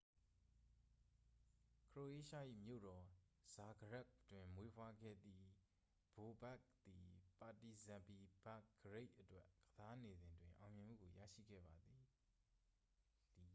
ခရိုအေးရှား၏မြို့တော် ဇာဂရက်ဘ် တွင်မွေးဖွားခဲ့သည် ဘိုဘက်ခ် သည် ပါတီဇန်ပီ ဘဲဘ်ဂရိတ် အတွက် ကစားနေစဉ်တွင် အောင်မြင်မှုကိုရရှိခဲ့ပါသည်